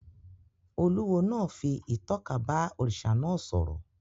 Olúwo náà fi ìtọ́ka bá òrìṣà náà sọ̀rọ̀